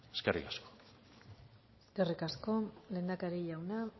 eskerrik asko eskerrik asko lehendakari jauna